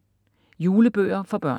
Julebøger for børn